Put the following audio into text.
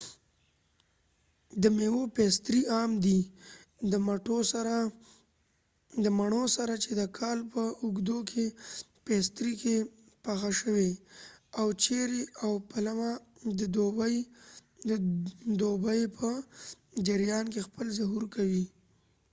د میوو پیستري عام دي د مڼو سره چې د کال په اوږدو کې پیستري کې پخه شوي او چیري او پلمه د دوبي په جریان کې خپل ظهور کوي